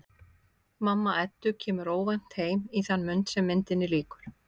Mamma Eddu kemur óvænt heim í þann mund sem myndinni lýkur.